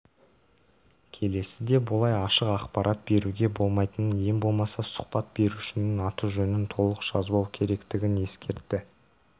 келесіде бұлай ашық ақпарат беруге болмайтынын ең болмаса сұхбат берушінің аты-жөнін толық жазбау керектігін ескертті